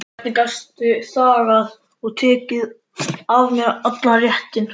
Hvernig gastu þagað og tekið af mér allan rétt?